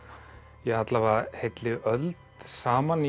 ja alla vega heilli öld saman í